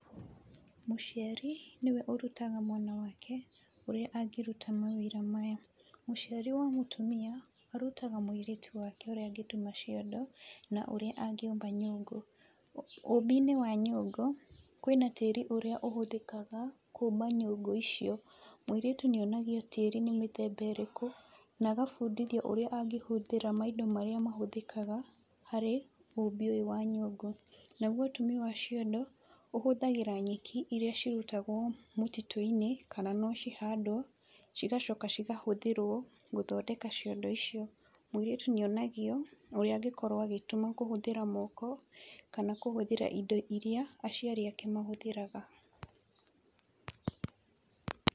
Mũciari, nĩwe ũrutaga mwana wake ũrĩa angĩruta mawĩra maya. Mũciari wa mũtumia, arutaga mũirĩtu wake ũrĩa angĩtuma ciondo na ũrĩa angĩũmba nyũngũ. Ũmbi-inĩ wa nyũngũ, kwĩna tĩri ũrĩa ũhũthĩkaga kũmba nyũngũ icio. Mũirĩtu nĩ onagio tĩri nĩ mĩthemba ĩrĩkũ, na agabundithio ũrĩa angĩhũthĩra maindo marĩa mahũthĩkanga harĩ ũmbi ũyũ wa nyũngũ. Naguo ũtumi wa ciondo, ũhũthagĩra nyeki, iria cirutagwo mũtitũ-inĩ, kana no cihandwo, cigacoka cikahũthĩrwo gũthondeka ciondo icio. Mũirĩtu nĩ onagio ũrĩa angĩkorwo agĩtuma kũhũthĩra moko, kana hũhũthĩra indo iria aciari ake mahũthĩraga.